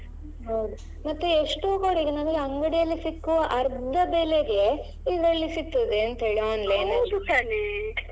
ಹೌದು ಮತ್ತೆ ಎಷ್ಟೋ ಕಡೆಗೆ ನಮಗೆ ಅಂಗಡಿಯಲ್ಲಿ ಸಿಕ್ಕುವ ಅರ್ಧ ಬೆಲೆಗೆ ಇದ್ರಲ್ಲಿ ಸಿಕ್ತದೆ ಎಂತ ಹೇಳಿ online ಅಲ್ಲಿ.